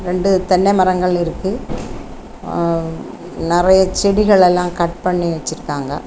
ரெண்டு தென்னை மரங்கள் இருக்கு அ நெறைய செடிகள் எல்லாம் கட் பண்ணி வச்சிருக்காங்க.